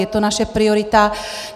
Je to naše priorita.